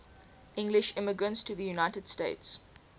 english immigrants to the united states